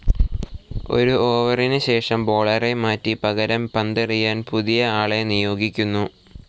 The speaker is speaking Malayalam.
ഒരു ഓവറിനു ശേഷം ബോളറെ മാറ്റി പകരം പന്തെറിയാൻ പുതിയ ആളെ നിയോഗിക്കുന്നു.